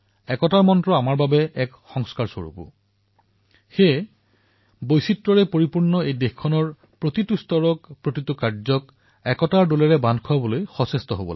একতাৰ এই মন্ত্ৰ আমাৰ জীৱনৰ সংস্কাৰৰ দৰে আৰু ভাৰতৰ দৰে বৈচিত্ৰময় দেশত আমি সকলো স্তৰত সকলো পৰ্যায়ত একতাৰ এই মন্ত্ৰ অধিক শক্তিশালী কৰাটো প্ৰয়োজন